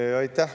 Aitäh!